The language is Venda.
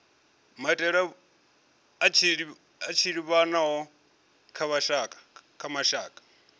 maitele a tshiḓivhano kha mashaka